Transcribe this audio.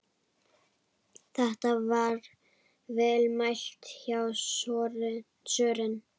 Þetta er vel mælt hjá Sören.